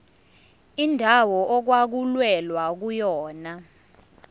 indawo okwakulwelwa kuyona